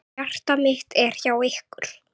Hjarta mitt er hjá ykkur.